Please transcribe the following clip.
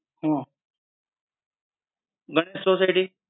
આહ Ganesh society?